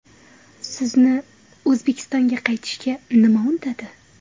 Sizni, O‘zbekistonga qaytishga nima undadi?